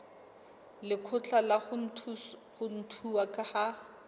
lekgotla la ho ntshuwa ha